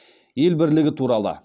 ел бірлігі туралы